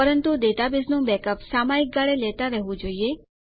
પરંતુ ડેટાબેઝનું બેકઅપ્સ સામયિક ગાળે લેતા રહેવું જોઈએ